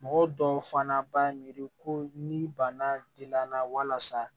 Mɔgɔ dɔw fana b'a miiri ko ni bana